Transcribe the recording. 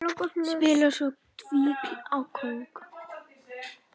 Spilar svo tígli á kóng.